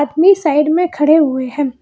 Side में खड़े हुए हैं।